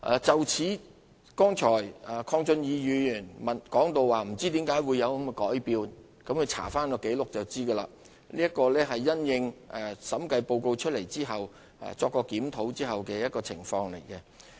就此，剛才鄺俊宇議員表示不知為何有此改變，鄺議員翻查紀錄就能了解，這是因應審計報告提出批評後經檢討的方案。